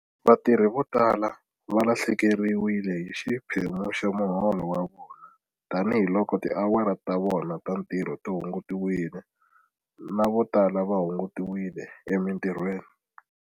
Vatirhi vo tala va lahlekeriwile hi xiphemu xa muholo wa vona tanihiloko tiawara ta vona ta ntirho ti hungutiwile na vo tala va hungutiwile emitirhweni.